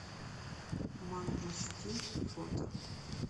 мангустин фото